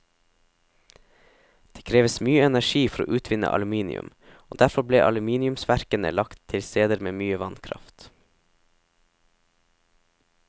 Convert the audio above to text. Det kreves mye energi for å utvinne aluminium, og derfor ble aluminiumsverkene lagt til steder med mye vannkraft.